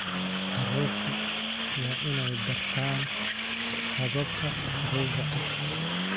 Carruurtu waa inay bartaan hababka gowraca.